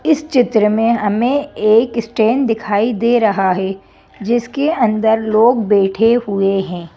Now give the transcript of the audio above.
इस चित्र में हमें एक स्टैंड दिखाई दे रहा हैं जिसके अंदर लोग बैठे हुए हैं।